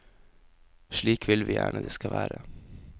Slik vil vi gjerne det skal være.